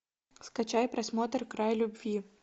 скачай просмотр край любви